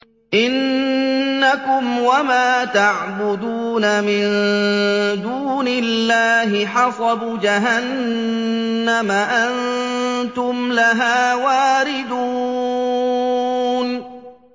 إِنَّكُمْ وَمَا تَعْبُدُونَ مِن دُونِ اللَّهِ حَصَبُ جَهَنَّمَ أَنتُمْ لَهَا وَارِدُونَ